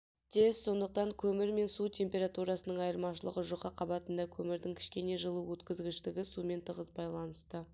тез сондықтан көмір мен су температурасының айырмашылығы жұқа қабатында көмірдің кішкене жылу өткізгіштігі сумен тығыз байланысты